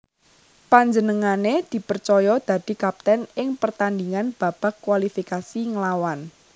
Panjenengané dipercaya dadi kapten ing pertandhingan babak kualifikasi nglawan